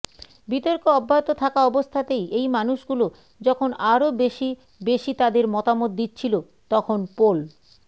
বিতর্ক অব্যাহত থাকা অবস্থাতেই এই মানুষগুলো যখন আরও বেশি বেশি তাদের মতামত দিচ্ছিল তখন পোল